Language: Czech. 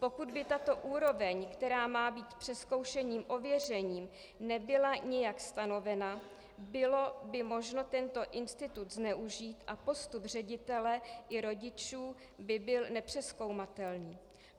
Pokud by tato úroveň, která má být přezkoušením ověřena, nebyla nijak stanovena, bylo by možno tento institut zneužít a postup ředitele i rodičů by byl nepřezkoumatelný.